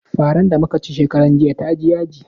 Faran da muka ci shekaran jiya ta ji yaji.